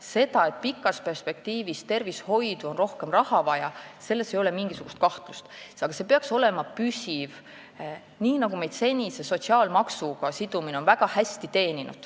Selles, et pikas perspektiivis on tervishoidu rohkem raha vaja, ei ole mitte mingisugust kahtlust, aga rahastus peaks olema püsiv, nii nagu meid on seni väga hästi teeninud sotsiaalmaksuga sidumine.